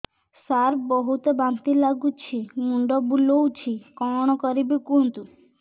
ସାର ବହୁତ ବାନ୍ତି ଲାଗୁଛି ମୁଣ୍ଡ ବୁଲୋଉଛି କଣ କରିବି କୁହନ୍ତୁ